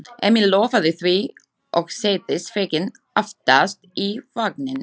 Emil lofaði því og settist feginn aftast í vagninn.